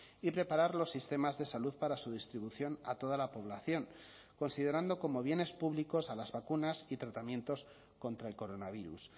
y preparar los sistemas de salud para su distribución a toda la población considerando como bienes públicos a las vacunas y tratamientos contra el coronavirus